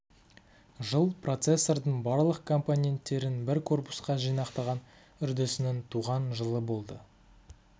жыл процессордың барлық компоненттерін бір корпусқа жинақтаған үрдісінің туған жылы болды